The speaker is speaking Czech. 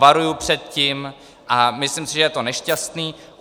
Varuji před tím a myslím si, že je to nešťastné.